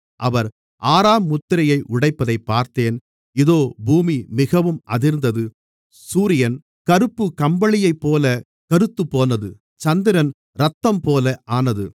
அவர் ஆறாம் முத்திரையை உடைப்பதைப் பார்த்தேன் இதோ பூமி மிகவும் அதிர்ந்தது சூரியன் கருப்புக் கம்பளியைப்போலக் கருத்துப்போனது சந்திரன் இரத்தம்போல ஆனது